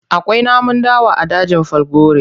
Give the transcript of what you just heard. Akwai namun dawa a dajin Falgore.